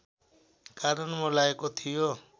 कारण मौलाएको थियो